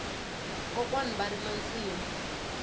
kwokwani va rima nsimu